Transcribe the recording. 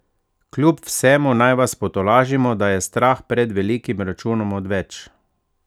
Kjub vsemu naj vas potolažimo, da je strah pred velikim računom odveč!